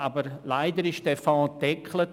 Aber leider wurde dieser Fonds gedeckelt.